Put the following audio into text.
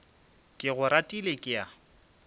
ke go ratile ke a